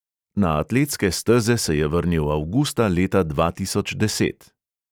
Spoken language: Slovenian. Na atletske steze se je vrnil avgusta leta dva tisoč deset.